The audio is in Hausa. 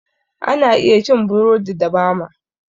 Ana iya cin burodi da bama